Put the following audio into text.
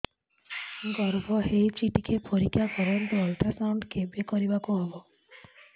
ଗର୍ଭ ହେଇଚି ଟିକେ ପରିକ୍ଷା କରନ୍ତୁ ଅଲଟ୍ରାସାଉଣ୍ଡ କେବେ କରିବାକୁ ହବ